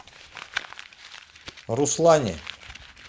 руслане